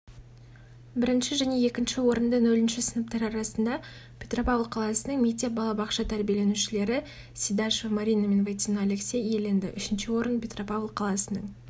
бірінші және екінші орынды нөлінші сыныптар арасында петропавл қаласының мектеп-балабақша тәрбиенелушілері сидашева марина мен войтено алексей иеленді үшінші орын петропавл қаласының